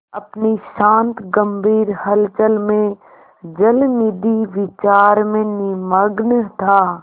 अपनी शांत गंभीर हलचल में जलनिधि विचार में निमग्न था